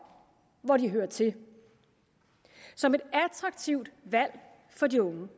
hvor de hører til som et attraktivt valg for de unge